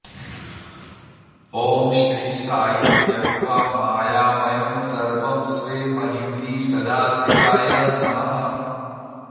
ॐ श्री साई त्यक्त्वा मायामयं सर्वं स्वे महिम्नि सदा स्थिताय नमः